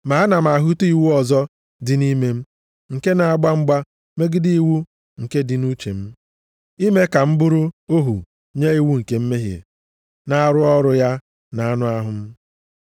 Ma ana m ahụta iwu ọzọ dị nʼime m nke na-agba mgba megide iwu nke dị nʼuche m, ime ka m bụrụ ohu nye iwu nke mmehie na-arụ ọrụ ya nʼanụ ahụ m.